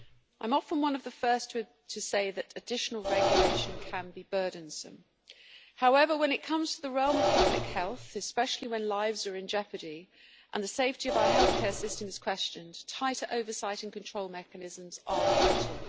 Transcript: I am often one of the first to say that additional regulation can be burdensome, however when it comes to the realm of public health, especially when lives are in jeopardy and the safety of our healthcare system is questioned, tighter oversight and control mechanisms are vital.